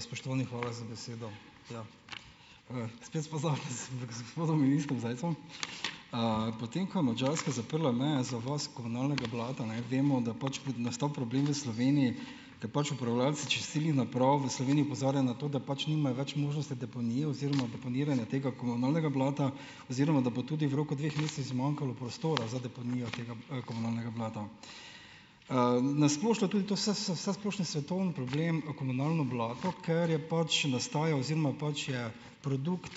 spoštovani, hvala za besedo. Z gospodom ministrom Zajcem, potem ko je Madžarska zaprla meje za odvoz komunalnega blata, vemo, da pač bo nastal problem v Sloveniji, ker pač prevajalci čistilnih naprav v Sloveniji opozarjajo na to, da pač nimajo več možnosti deponije oziroma deponiranja tega komunalnega blata oziroma da bo tudi v roku dveh mesecev zmanjkalo prostora za deponijo tega, komunalnega blata. na splošno tudi to vsesplošni svetovni problem, komunalno blato, ker je pač nastajal oziroma pač je produkt,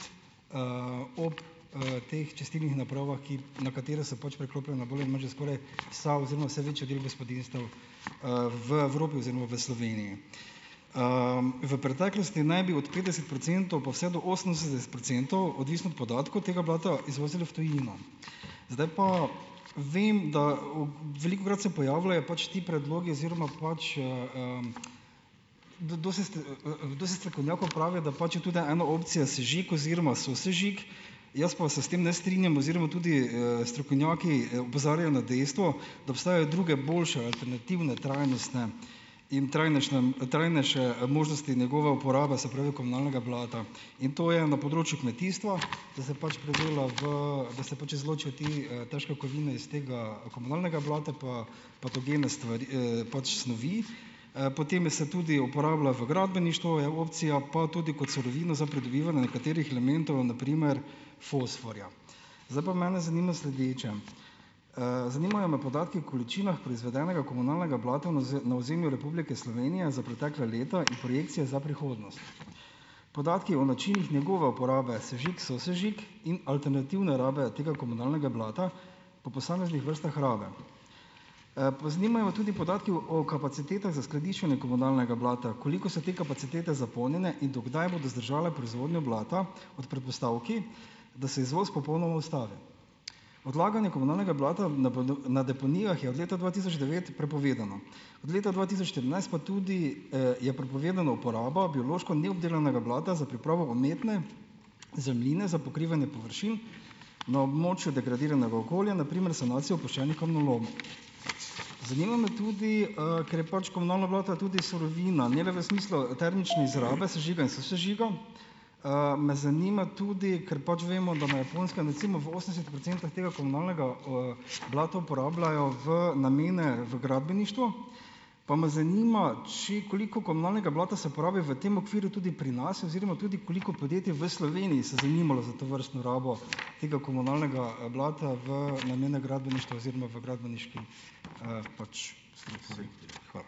ob, teh čistilnih napravah, na katere se pač priklopijo na primer že skoraj vsa oziroma vse večji del gospodinjstev, v Evropi oziroma v Sloveniji. v preteklosti naj bi od petdeset procentov pa vse do osemdeset procentov, odvisno od podatkov, tega blata izvozili v tujino. Zdaj pa vem, da, velikokrat se pojavljajo pač ti predlogi oziroma pač, dosti dosti strokovnjakov pravi, da pač je tudi ena opcija sežig oziroma sosežig, jaz pa se s tem ne strinjam oziroma tudi, strokovnjaki, opozarjajo na dejstvo, da obstajajo druge, boljše, alternativne trajnostne in trajnejšne, trajnejše možnosti njegove uporabe, se pravi komunalnega blata. In to je na področju kmetijstva, da se pač predela v, da se pač izločijo te, težke kovine iz tega komunalnega blata pa patogene stvari, pač snovi, potem je se tudi uporablja v gradbeništvu, je opcija, pa tudi kot surovina za pridobivanje nekaterih elementov, na primer fosforja. Zdaj pa mene zanima sledeče. zanimajo me podatki o količinah proizvedenega komunalnega blata na na ozemlju Republike Slovenije za pretekla leta in projekcije za prihodnost. Podatki o načinih njegove uporabe, sežig, sosežig in alternativne rabe tega komunalnega blata po posameznih vrstah rab. zanimajo me tudi podatki o kapacitetah za skladiščenje komunalnega blata. Koliko so te kapacitete zapolnjene in do kdaj bodo zdržale proizvodnjo blata ob predpostavki, da se izvoz popolnoma ustavi. Odlaganje komunalnega blata na na deponijah je od leta dva tisoč devet prepovedano. Od leta dva tisoč trinajst pa tudi, je prepovedana uporaba biološko neobdelanega blata za pripravo umetne zemljine za pokrivanje površin na območju degradiranega okolja, na primer sanacijo opuščenih kamnolomov. Zanima me tudi, ker je pač komunalno blato je tudi surovina, ne le v smislu termične izrabe sežiga in sosežiga, me zanima tudi, ker pač vemo, da na Japonskem recimo v osemdesetih procentih tega komunalnega, blata uporabljajo v namene v gradbeništvu, pa me zanima, koliko komunalnega blata se uporabi v tem okviru tudi pri nas, oziroma tudi, koliko podjetij v Sloveniji se zanimalo za tovrstno rabo tega komunalnega, blata v namene gradbeništva oziroma v gradbeniški, pač. Hvala.